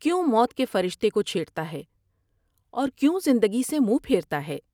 کیوں موت کے فرشتے کو چھیٹرتا ہے اور کیوں زندگی سے منہ پھیرتا ہے ۔